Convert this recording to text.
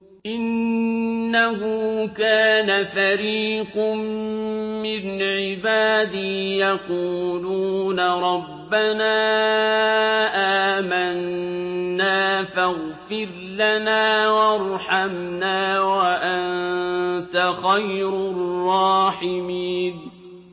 إِنَّهُ كَانَ فَرِيقٌ مِّنْ عِبَادِي يَقُولُونَ رَبَّنَا آمَنَّا فَاغْفِرْ لَنَا وَارْحَمْنَا وَأَنتَ خَيْرُ الرَّاحِمِينَ